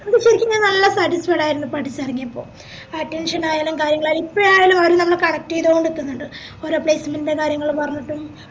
ഇവിടെ ശെരിക്കും ഞാൻ നല്ല satisfied ആയിരുന്നു പഠിചേറങ്ങിയപ്പോ ആ attention ആയാലും കാര്യങ്ങളായാലും ഇപ്പഴായാലും അയെല്ലാം നമ്മളെ ചെയ്തോണ്ടിക്ന്നിണ്ട് ഓരോ placement ൻറെ കാര്യങ്ങൾ പറഞ്ഞിട്ടും